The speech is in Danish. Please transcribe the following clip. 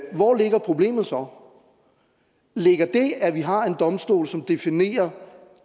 hvor ligger problemet så ligger det i at vi har en domstol som definerer